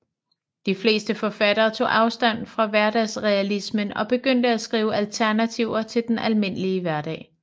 De fleste forfattere tog afstand fra hverdagsrealismen og begyndte at skrive alternativer til den almindelige hverdag